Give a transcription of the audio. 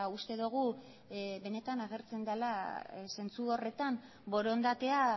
uste dugu benetan agertzen dela zentzu horretan borondatea